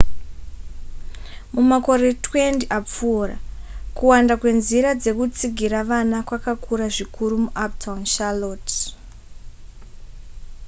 mumakore 20 apfuura kuwanda kwenzira dzekutsigira vana kwakakura zvikuru muuptown charlotte